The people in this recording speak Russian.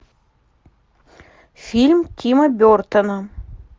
фильм тима бертона